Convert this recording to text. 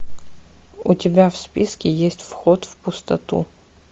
у тебя в списке есть вход в пустоту